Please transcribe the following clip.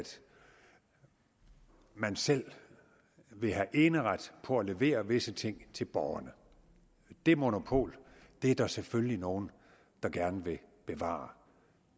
man selv vil have eneret på at levere visse ting til borgerne det monopol er der selvfølgelig nogle der gerne vil bevare